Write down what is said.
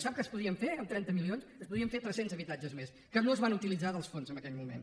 sap què es podria fer amb trenta milions es podrien fer tres cents habitatges més que no es van utilitzar dels fons en aquell moment